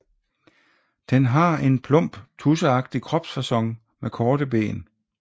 Den har en plump tudseagtig kropsfacon med korte ben